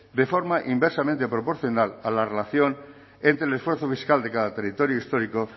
en forma inversamente proporcional a la relación entre el esfuerzo fiscal de cada territorio histórico